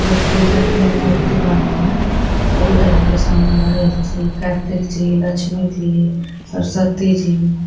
व पूजा की मूर्ती बनल बा। दुर्गा जी के साम गणेश जी कार्तिक जी लक्ष्मी जी सरस्वती जी --